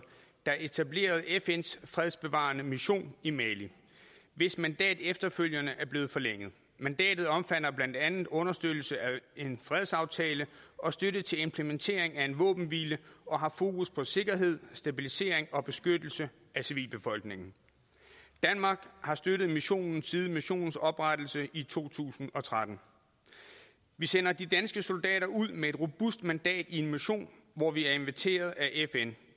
der etablerede fns fredsbevarende mission i mali hvis mandat efterfølgende er blevet forlænget mandatet omfatter blandt andet understøttelse af en fredsaftale og støtte til implementering af en våbenhvile og har fokus på sikkerhed stabilisering og beskyttelse af civilbefolkningen danmark har støttet missionen siden missionens oprettelse i to tusind og tretten vi sender de danske soldater ud med et robust mandat i en mission hvor vi er inviteret af fn